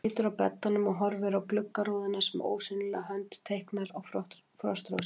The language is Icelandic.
Hann situr á beddanum og horfir á gluggarúðuna sem ósýnileg hönd teiknar á frostrósir.